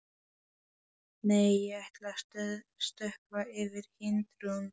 Nei, ég ætla að stökkva yfir hindrun.